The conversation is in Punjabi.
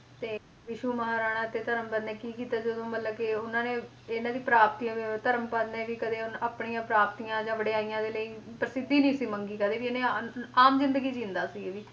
ਤੇ ਵਿਸ਼ੂ ਮਹਾਰਾਣਾ ਤੇ ਧਰਮਪਾਲ ਨੇ ਕੀ ਕੀਤਾ ਜਦੋਂ ਮਤਲਬ ਕਿ ਉਹਨਾਂ ਨੇ ਇਹਨਾਂ ਦੀ ਪ੍ਰਾਪਤੀਆਂ ਧਰਮਪਾਲ ਨੇ ਵੀ ਕਦੇ ਉਹਨੇ ਆਪਣੀਆਂ ਪ੍ਰਾਪਤੀਆਂ ਜਾਂ ਵਡਿਆਈਆਂ ਦੇ ਲਈ ਪ੍ਰਸਿੱਧੀ ਸੀ ਨੀ ਮੰਗੀ ਕਦੇ ਵੀ ਉਹਨੇ ਆ~ ਆਮ ਜ਼ਿੰਦਗੀ ਜਿਉਂਦਾ ਸੀ ਇਹ ਵੀ,